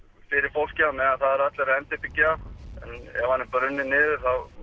fólkið á meðan það eru allir að endurbyggja en ef hann er brunninn niður